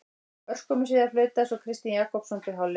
Örskömmu síðar flautaði svo Kristinn Jakobsson til hálfleiks.